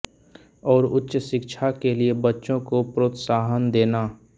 और उच्च शिक्षा के लिए बच्चों को प्रोत्साहन देना